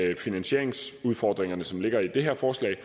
de finansieringsudfordringer som ligger i det her forslag